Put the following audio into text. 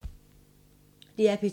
DR P2